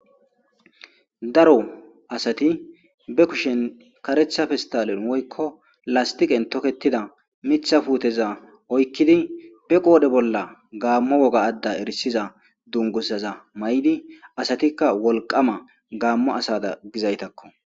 Daro asati be kushen karetha festalen woykko lastiqen toketida mitha puuteza oykkidi be qoodhe bolla gaammo woga adda erisiza dungusaza may'di asatikka wolqama gaammo asada gizaytakko.